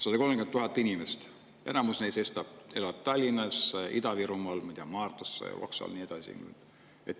130 000 inimest, enamus neist elab Tallinnas, Ida-Virumaal, Maardus, Loksal ja nii edasi.